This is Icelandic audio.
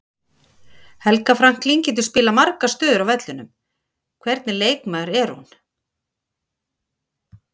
Helga Franklín getur spilað margar stöður á vellinum, hvernig leikmaður er hún?